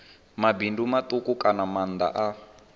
mabindu matuku kana maanda a